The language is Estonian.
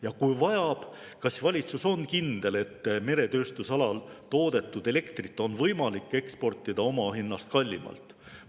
Ja kui vajab, kas siis valitsus on kindel, et meretööstusalal toodetud elektrit on võimalik eksportida omahinnast kallimalt?